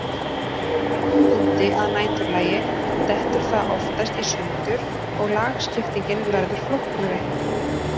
Í hægum vindi að næturlagi dettur það oftast í sundur og lagskiptingin verður flóknari.